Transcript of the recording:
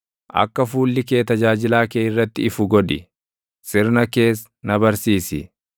Akka fuulli kee tajaajilaa kee irratti ifu godhi; sirna kees na barsiisi.